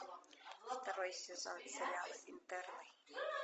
второй сезон сериала интерны